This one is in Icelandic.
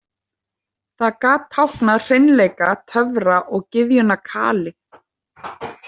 Það gat táknað hreinleika, töfra og gyðjuna Kali.